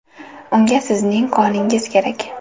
Unga sizning qoningiz kerak .